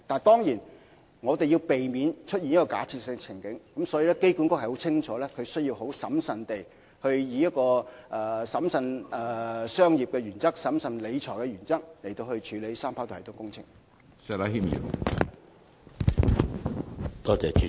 當然，我們要避免出現這個假設性的處境，所以機管局深切明白，必須以審慎商業的原則、審慎理財的原則處理三跑道系統工程。